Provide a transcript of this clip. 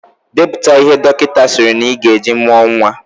Depụta ihe ndị dọkịta sịrị na Ị gaa eji mụọ nwa